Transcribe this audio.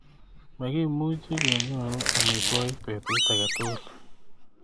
Mikimuchi kenyoru amitwogiik betut age tugul.